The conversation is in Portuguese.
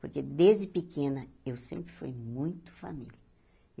Porque, desde pequena, eu sempre fui muito família.